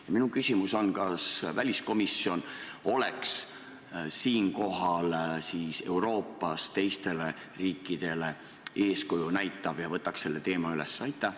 Ja minu küsimus on: kas väliskomisjon näitaks siinkohal Euroopas teistele riikidele eeskuju ja võtaks selle teema üles?